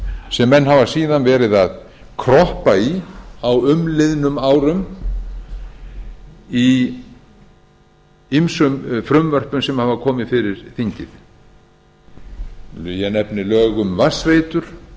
sem menn hafa síðan verið að kroppa í á umliðnum árum í ýmsum frumvörpum sem hafa komið fyrir þingið ég nefni lög um vatnsveitur